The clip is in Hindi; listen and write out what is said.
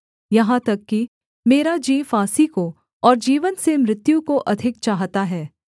यहाँ तक कि मेरा जी फांसी को और जीवन से मृत्यु को अधिक चाहता है